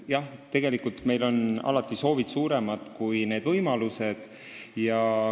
Jah, meie soovid on alati suuremad kui võimalused.